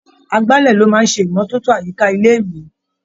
Agbálẹ̀ ló máa ń ṣe ìmọ́tótó àyíká ilé-ìwé.